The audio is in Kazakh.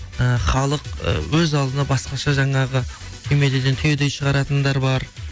ы халық ы өз алдына басқаша жаңағы түймедейден түйдей шығаратындар бар